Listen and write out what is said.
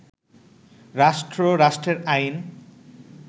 রাষ্ট্র, রাষ্ট্রের আইন